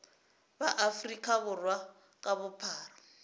ba afrika borwa ka bophara